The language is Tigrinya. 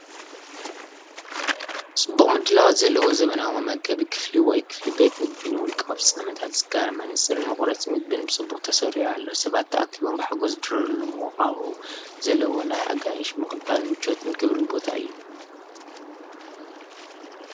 ጽቡቕ ምድላዋት ዘለዎ ዘመናዊ መመገቢ ክፍሊ ወይ ክፍሊ ቤት መግቢ ንውልቃዊ ፍጻመታት ዝካረ። መነጽርን መቑረጺ ምግቢን ብጽቡቕ ተሰሪዑ ኣሎ። ሰባት ተኣኪቦም ብሓጎስ ዝድረሩሉ ምዉቕ ሃዋህው ዘለዎ ናይ ኣጋይሽ ምቕባልን ምቾትን ክብርን ቦታ እዩ።